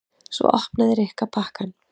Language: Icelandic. Svo opnaði Rikka pakkann.